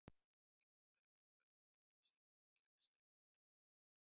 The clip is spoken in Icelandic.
Í umhverfi okkar er koltvísýringur gegnsæ lofttegund.